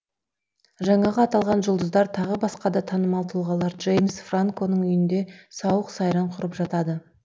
жаңағы аталған жұлдыздар тағы басқа да танымал тұлғалар джеймс франконың үйінде сауық сайран құрып жатады